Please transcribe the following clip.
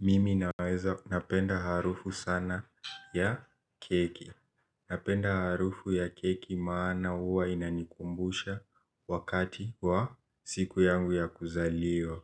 Mimi naweza napenda harufu sana ya keki napenda harufu ya keki maana huwa inanikumbusha wakati wa siku yangu ya kuzaliwa.